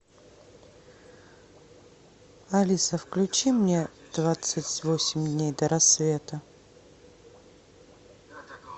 алиса включи мне двадцать восемь дней до рассвета